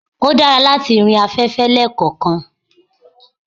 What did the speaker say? ó dára látí rìnrìn afẹ́fẹ́ lekankan